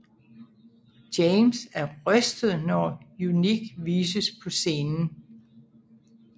James er rystet når Unique vises på scenen